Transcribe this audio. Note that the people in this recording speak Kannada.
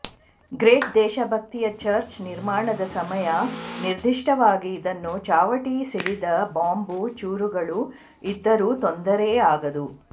ಗ್ರೇಟ್ ದೇಶಭಕ್ತಿಯ ಚರ್ಚ್ ನಿರ್ಮಾಣದ ಸಮಯ ನಿರ್ದಿಷ್ಟವಾಗಿ ಇದನ್ನು ಚಾವಟಿ ಸಿಡಿದ ಬಾಂಬು ಚೂರುಗಳು ಇದ್ದರೂ ತೊಂದರೆಯಾಗದು